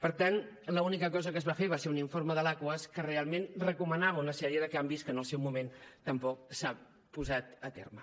per tant l’única cosa que es va fer va ser un informe de l’aquas que realment recomanava una sèrie de canvis que en el seu moment tampoc s’han portat a terme